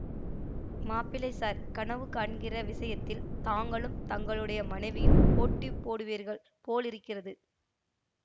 மாப்பிள்ளை ஸார் கனவு காண்கிற விஷயத்தில் தாங்களும் தங்களுடைய மனைவியும் போட்டி போடுவீர்கள் போலிருக்கிறது